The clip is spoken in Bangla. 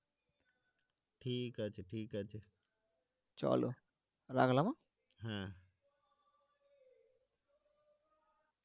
ঠিক আছে ঠিক আছে রাখলাম অ্যাঁ? হ্যাঁ